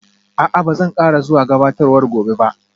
A'a, ba zan ƙara zuwa gabatarwar gobe ba